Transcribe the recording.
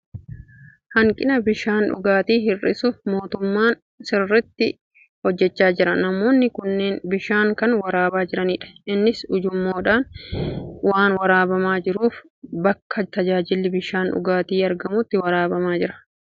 Hanqina bishaan dhugaatii hir'isuuf mootummaan sirriitti hojjechaa jira. Namoonni kunneen bishaan kan waraabaa jiranidha. Innis ujummoodhaan waan waraabamaa jiruuf, bakka tajaajilli bishaan dhugaatii argamuutii waraabamaa jira. Meeshaan kun okkotee irraa addadha.